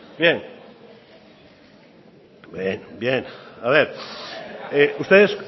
bien a ver